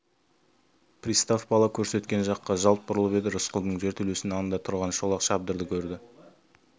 пристав бала көрсеткен жаққа жалт бұрылып еді рысқұлдың жертөлесінің алдында тұрған шолақ шабдарды көрді